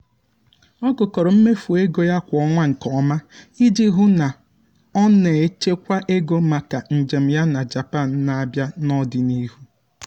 ọ gụkọrọ mmefu ego ya kwa ọnwa nke ọma iji hụ na o na-echekwa ego maka njem ya na japan n'abia n'ọdịnihu.